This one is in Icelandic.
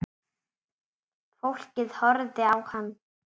Fólkið horfði á hann.